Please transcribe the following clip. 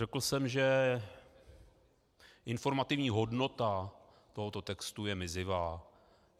Řekl jsem, že informativní hodnota tohoto textu je mizivá.